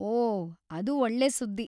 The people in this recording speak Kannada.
ಓಹ್‌, ಅದು ಒಳ್ಳೆ ಸುದ್ದಿ.